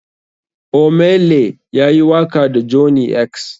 Ohmay lay ya yi waka da johney x.